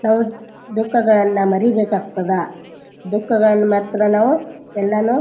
ನಾವು ದುಕ್ಕಗಳನ್ನ ಮರೀಬೇಕಾಗ್ತಾದ ದುಕ್ಕಗಳನ್ ಮರೆತರ ನಾವು ಎಲ್ಲಾನು --